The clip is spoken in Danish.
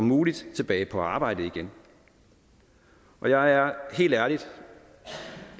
muligt tilbage på arbejdet igen jeg er helt ærligt